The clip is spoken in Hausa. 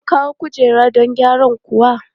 An kawo kujera don gyara kuwa?